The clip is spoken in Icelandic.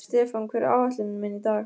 Stefán, hvað er á áætluninni minni í dag?